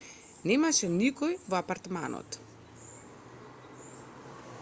немаше никој во апартманот